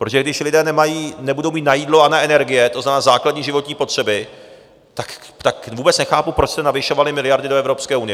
Protože když lidé nebudou mít na jídlo a na energie, to znamená základní životní potřeby, tak vůbec nechápu, proč jste navyšovali miliardy do Evropské unie.